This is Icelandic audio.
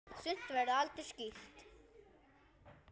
Sumt verður aldrei skýrt.